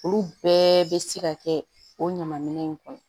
Olu bɛɛ bɛ se ka kɛ o ɲaman minɛn in kɔnɔ